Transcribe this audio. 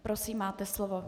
Prosím, máte slovo.